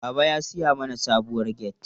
Baba ya siya mana sabuwar gate.